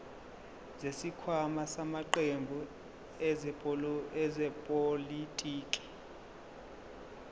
zesikhwama samaqembu ezepolitiki